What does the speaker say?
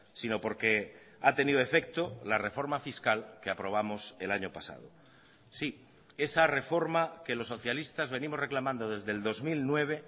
sino porque ha tenido efecto la reforma fiscal que aprobamos el año pasado sí esa reforma que los socialistas venimos reclamando desde el dos mil nueve